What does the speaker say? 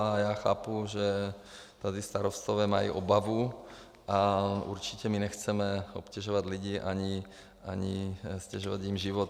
A já chápu, že tady starostové mají obavu, a určitě my nechceme obtěžovat lidi ani ztěžovat jim život.